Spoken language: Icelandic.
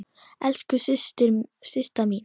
Elsku Systa mín.